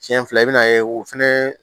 Siɲɛ fila i bɛna ye o fɛnɛ